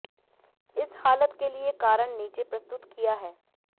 इस हालत के लिए कारण नीचे प्रस्तुत किया है